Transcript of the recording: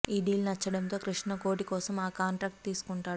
ఆ డీల్ నచ్చడంతో కృష్ణ కోటి కోసం ఆ కాంట్రాక్ట్ తీసుకుంటాడు